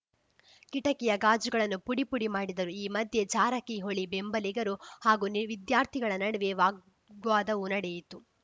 ಕಿಟಕಿಯ ಗಾಜುಗಳನ್ನು ಪುಡಿ ಪುಡಿ ಮಾಡಿದರು ಈ ಮಧ್ಯೆ ಜಾರಕಿಹೊಳಿ ಬೆಂಬಲಿಗರು ಹಾಗೂ ನಿ ವಿದ್ಯಾರ್ಥಿಗಳ ನಡುವೆ ವಾಗ್ವಾದವೂ ನಡೆಯಿತು